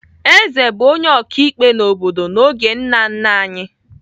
Eze bụ onye ọkaikpe n'obodo n'oge nna nna anyị.